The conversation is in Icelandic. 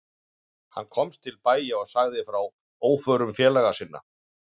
Hann komst til bæja og sagði frá óförum félaga sinna.